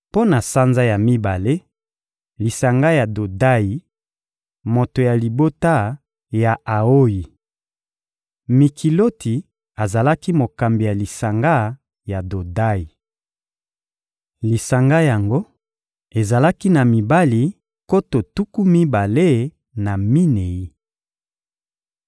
Mpo na sanza ya mibale: lisanga ya Dodayi, moto ya libota ya Aoyi. Mikiloti azalaki mokambi ya lisanga ya Dodayi. Lisanga yango ezalaki na mibali nkoto tuku mibale na minei.